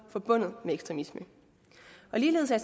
forbundet med ekstremisme ligeledes er